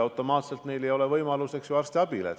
Nendel inimestel ei ole automaatselt võimalust arstiabi saada.